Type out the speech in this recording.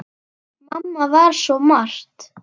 Mamma var svo margt.